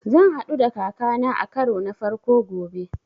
Zan haɗu da kaka na a karo na farko gobe